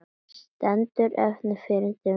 Stefnir fyrrverandi fyrir dóm